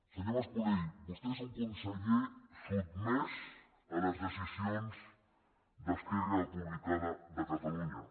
senyor mas colell vostè és un conseller sotmès a les decisions d’esquerra republicana de catalunya